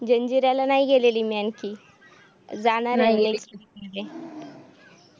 जंजिर्‍याला नाही गेलेली मी आणखी जाणार आहे